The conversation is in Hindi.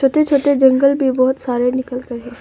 छोटे छोटे जंगल भी बहुत सारे निकल कर है।